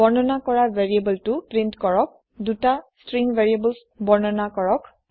বৰ্ণনা কৰা ভেৰিয়েবোলটি প্ৰীন্ট কৰক দুটা ষ্ট্ৰিং ভেৰিয়েবলছ বৰ্ণনা কৰক